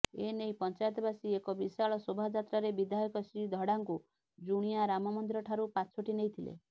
ଏନେଇ ପଞ୍ଚାୟତବାସୀ ଏକ ବିଶାଳ ଶୋଭାଯାତ୍ରାରେ ବିଧାୟକ ଶ୍ରୀ ଧଡ଼ାଙ୍କୁ ଜୁଣିଆ ରାମମନ୍ଦିର ଠାରୁ ପାଛୋଟି ନେଇଥିଲେ